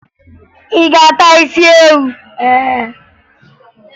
Ị ga-ata isi ewu?